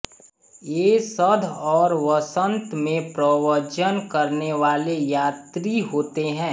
ये शरद् और वसंत में प्रव्रजन करनेवाले यात्री होते हैं